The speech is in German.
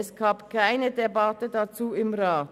Es gab keine Debatte dazu im Rat.